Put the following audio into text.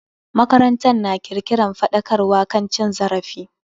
Makarantar na kirkiran faɗakarwa kan cin zarafi.